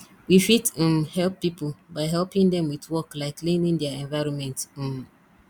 we fit um help pipo by helping them with work like cleaning their environment um